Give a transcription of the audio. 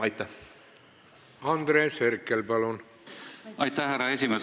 Aitäh, härra esimees!